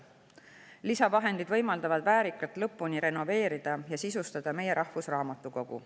Lisavahendid võimaldavad väärikalt lõpuni renoveerida ja sisustada meie rahvusraamatukogu.